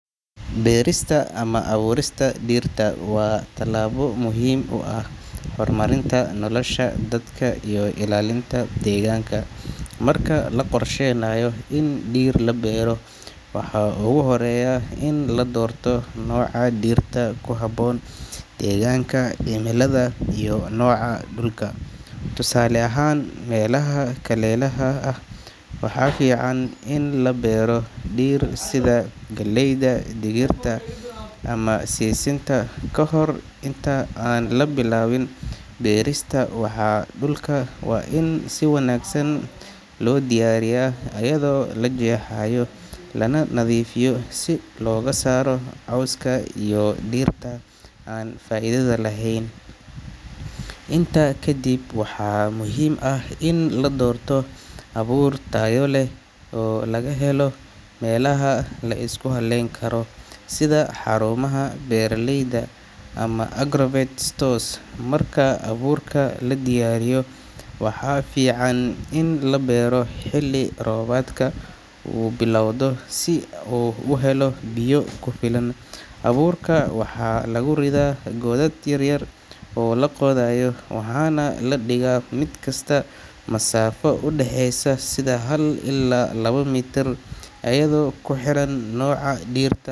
Beerista ama abuurista dhirta waa tallaabo muhiim u ah horumarinta nolosha dadka iyo ilaalinta deegaanka. Marka la qorsheynayo in dhir la beero, waxaa ugu horreeya in la doorto nooca dhirta ku habboon deegaanka, cimilada iyo nooca dhulka. Tusaale ahaan, meelaha kulaylaha ah waxaa fiican in la beero dhir sida galleyda, digirta ama sisinta. Kahor inta aan la bilaabin beerista, dhulka waa in si wanaagsan loo diyaariyaa, iyadoo la jeexayo lana nadiifinayo si looga saaro cawska iyo dhirta aan faa’iidada lahayn. Intaa ka dib, waxaa muhiim ah in la doorto abuur tayo leh oo laga helo meelaha la isku halleyn karo sida xarumaha beeralayda ama agrovet stores. Marka abuurka la diyaariyo, waxaa fiican in la beero xilli roobaadka uu bilowdo, si uu u helo biyo ku filan. Abuurka waxaa lagu ridaa godad yar yar oo la qodayo, waxaana la dhigaa mid kasta masaafo u dhaxeysa sida hal ilaa laba mitir, iyadoo ku xiran nooca dhirta.